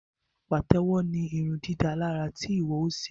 Patewo ní irundidalara tí iwọ o ṣe